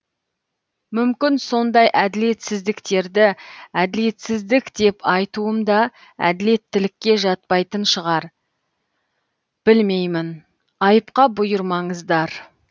мүмкін сондай әділетсіздіктерді әділетсіздік деп айтуым да әділеттілікке жатпайтын шығар білмеймін айыпқа бұйырмаңыздар